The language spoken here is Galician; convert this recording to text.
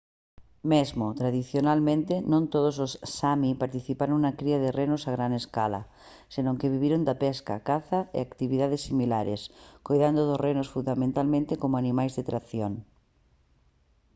mesmo tradicionalmente non todos os sámi participaron na cría de renos a gran escala senón que viviron da pesca caza e actividades similares coidando dos renos fundamentalmente como animais de tracción